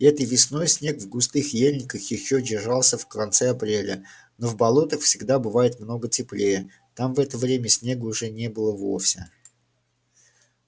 этой весной снег в густых ельниках ещё держался в конце апреля но в болотах всегда бывает много теплее там в это время снега уже не было вовсе